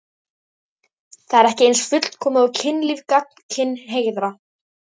Það er ekki eins fullkomið og kynlíf gagnkynhneigðra.